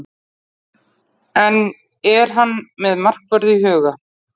En er hann með markvörð í huga?